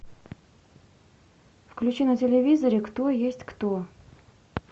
включи на телевизоре кто есть кто